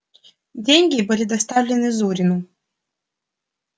деньги были доставлены зурину